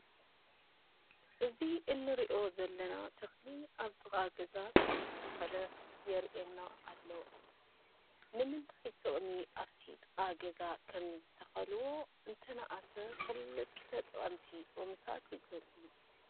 እዚ እንሪኦ ዘለና ተኽሊ ኣብ ጥቓ ገዛ ከምዝተተኽለ የርኤና ኣሎ፡፡ ንምንታይ ጥቕሚ ኣብቲ ጥቓ ገዛ ከምዝተኸልዎ እንተነኣሰ ክልተ ጠቐምቲ ጥቕምታት ይግለፁ፡፡